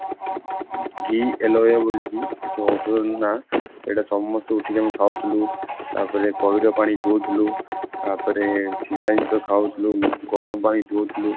giloy ବୋଳିକି ଯୋଉ ଔଷଧର ନା ଏଇଟା ସମସ୍ତେ ଉଠିକି ଆମେ ଝାଉଥିଲୁ ତାପରେ ପଇଡ଼ ପାଣି ପିଉଥିଲୁ ତାପରେ ସିଝା ଜିନିଷ ଖାଉଥିଲୁ, ଗରମ ପାଣି ପିଉଥିଲୁ